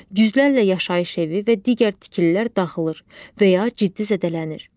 Yüzlərlə yaşayış evi və digər tikililər dağılır və ya ciddi zədələnir.